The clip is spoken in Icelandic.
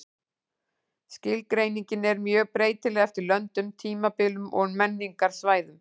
Skilgreiningin er mjög breytileg eftir löndum, tímabilum og menningarsvæðum.